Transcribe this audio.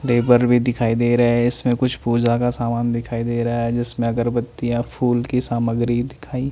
देबर भी दिखाई दे रहा है इसमें कुछ पूजा का सामान दिखाई दे रहा है जिसमें अगरबत्तियां फूल की सामग्री दिखाई --